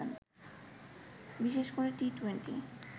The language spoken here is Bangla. বিশেষ করে টি-টোয়েন্টি